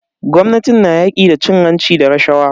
Gwamnatin na yaƙi da cin hanci da rashawa.